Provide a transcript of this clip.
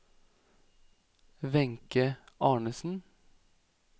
Wenche Arnesen